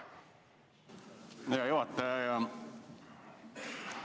Hea juhataja!